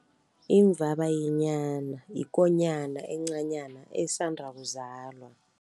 Imvabayenyana yikonyana encanyana esanda kuzalwa.